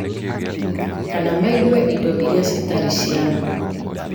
kana maigue indo iria itarĩ cia ma.